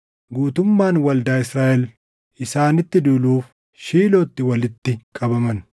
guutummaan waldaa Israaʼel isaanitti duuluuf Shiilootti walitti qabaman.